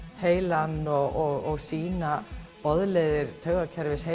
heilann og sýna boðleiðir taugakerfisins